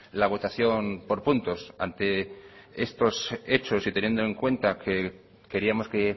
la votación por puntos ante estos hechos y teniendo en cuenta que queríamos que